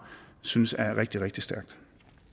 synes er rigtig rigtig stærkt